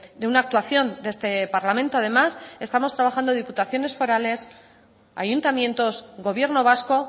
de una actuación de este parlamento además estamos trabajando diputaciones forales ayuntamientos gobierno vasco